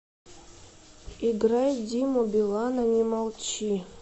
играй диму билана не молчи